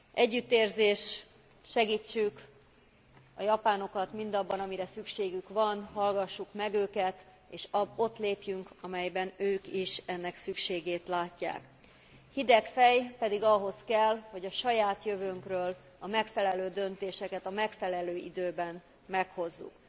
Együttérzés, segítsük a japánokat mindabban, amire szükségük van, hallgassuk meg őket és ott lépjünk, amelyben ők is ennek szükségét látják. Hideg fej pedig ahhoz kell, hogy a saját jövőnkről a megfelelő döntéseket a megfelelő időben meghozzuk.